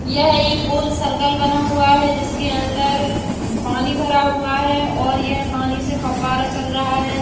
यह एक गोल सर्कल बना हुआ है। जिसके अंदर पानी भरा हुआ है और यह पानी से फव्वारा चल रहा है।